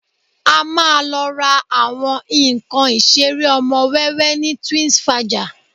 A máa lọ ra àwọn nǹkan ìṣeré ọmọ wẹ́wẹ́ ní Twinsfaja